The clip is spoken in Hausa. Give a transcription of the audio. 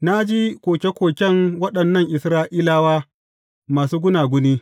Na ji koke koken waɗannan Isra’ilawa masu gunaguni.